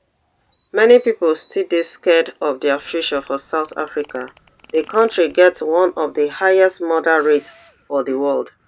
many pipo still dey scared of dia future for south africa di kontri get one of di highest murder rates for di world